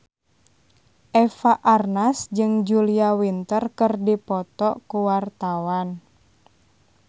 Eva Arnaz jeung Julia Winter keur dipoto ku wartawan